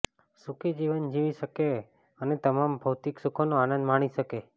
સુખી જીવન જીવી શકે અને તમામ ભૌતિક સુખોનો આનંદ માણી શકે